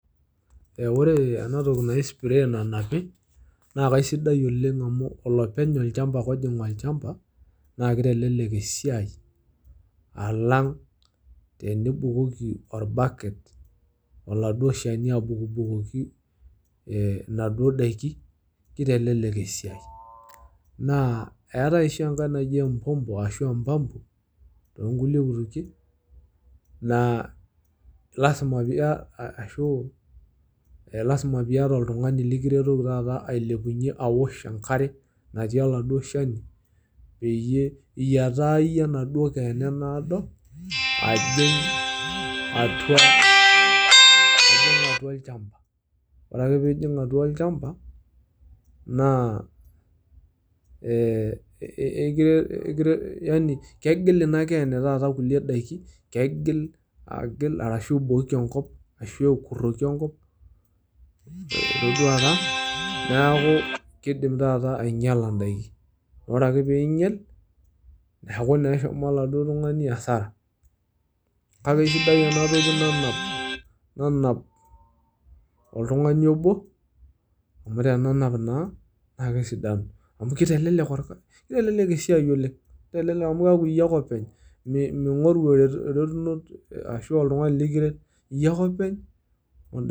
Ore ena toki naji speya nanapi naa keisidai oleng amuu olopeny lchamba ake oojing irchamba naa keitelelek esiaai alang tenibukoki irbaket olaado isheni abukubukoki naduo daki, keitelelek esiaai, naa eatae osji enkae naji empompo ashuu empampo toonkule kumoshin naa lasima piiyata ashuu lasima piieata oltungani likiretoki taata ailepunye aosh inkare natii elado cheni peyie iyataa iyie enadoo keene naodo ajing' atua lchamba, ore piijing atua lchamba naa kegil ina keene taata nkule daki kegil arashu aibooki enkop arashu akuroki enkop, neaku keidim taata ainyasla indaki, ore ake peinyal naaku eshomo elado tungani hasara, kake etii enoshi nanap oltungani oboo amu tenenap naa kesidanu amu tenenap naa keitelelek esiaai oleng, keitelelek amu ore iyie ake openy miing'oru eretunoto ashu oltungani likiret iye ake openy.